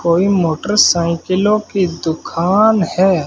कोई मोटरसाइकिलों की दुकान है।